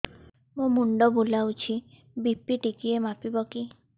ମୋ ମୁଣ୍ଡ ବୁଲାଉଛି ବି.ପି ଟିକିଏ ମାପିବ କି